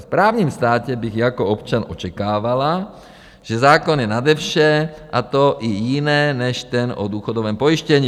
V právním státě bych jako občan očekávala, že zákon je nade vše, a to i jiné, než ten o důchodovém pojištění.